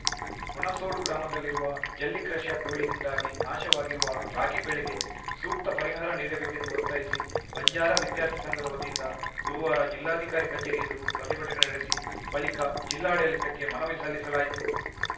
ಹುಣಸೋಡು ಗ್ರಾಮದಲ್ಲಿರುವ ಜಲ್ಲಿ ಕ್ರಷರ್‌ ಧೂಳಿನಿಂದಾಗಿ ನಾಶವಾಗಿರುವ ರಾಗಿ ಬೆಳೆಗೆ ಸೂಕ್ತ ಪರಿಹಾರ ನೀಡಬೇಕೆಂದು ಒತ್ತಾಯಿಸಿ ಬಂಜಾರ ವಿದ್ಯಾರ್ಥಿ ಸಂಘದ ವತಿಯಿಂದ ಗುರುವಾರ ಜಿಲ್ಲಾಧಿಕಾರಿ ಕಚೇರಿ ಎದುರು ಪ್ರತಿಭಟನೆ ನಡೆಸಿ ಬಳಿಕ ಜಿಲ್ಲಾಡಳಿತಕ್ಕೆ ಮನವಿ ಸಲ್ಲಿಸಲಾಯಿತು